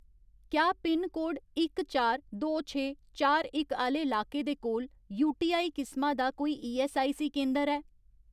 क्या पिनकोड इक चार, दो छे, चार इक आह्‌ले लाके दे कोल यूटीआई किसमा दा कोई ईऐस्सआईसी केंदर ऐ ?